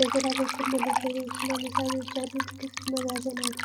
በግራ በኩል መደርደሪያዎችና መሳቢያዎች ያሉት ክፍት መጋዘን አሉ።